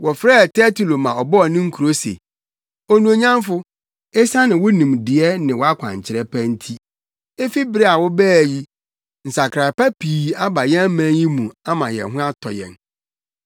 Wɔfrɛɛ Tertulo ma ɔbɔɔ ne nkuro se, “Onuonyamfo! Esiane wo nimdeɛ ne wʼakwankyerɛ pa nti efi bere a wobaa yi, nsakrae pa pii aba yɛn man yi mu ama yɛn ho atɔ yɛn.